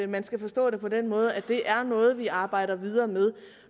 man skal forstå det på den måde at det er noget vi arbejder videre med